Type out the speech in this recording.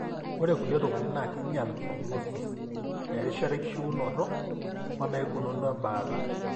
ore kulie tokitin na kinyial prognosis( erishata enkishuonoto) onaikununo embaata.